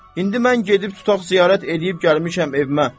İndi mən gedib tutaq ziyarət eləyib gəlmişəm evimə.